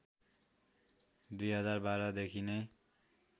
२०१२ देखि नै